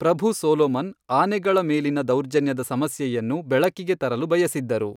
ಪ್ರಭು Solomon ಆನೆಗಳ ಮೇಲಿನ ದೌರ್ಜನ್ಯದ ಸಮಸ್ಯೆಯನ್ನು ಬೆಳಕಿಗೆ ತರಲು ಬಯಸಿದ್ದರು.